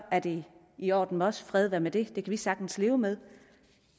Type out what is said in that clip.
er det i orden med os fred være med det det kan vi sagtens leve med